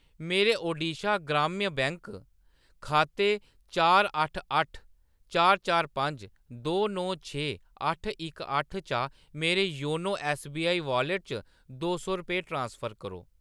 मेरे ओडिशा ग्राम्य बैंक खाते चार अट्ट अट्ठ चार चार पंज दो नौ छे अट्ठ इक अट्ठ चा मेरे योनो ऐस्सबीआई वाॅलेट च दो सौ रपेऽ ट्रांसफर करो।